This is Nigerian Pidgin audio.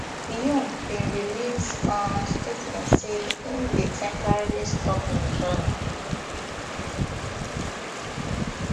yoon bin release um statement say im dey temporarily stop im journey